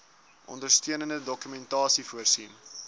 ondersteunende dokumentasie voorsien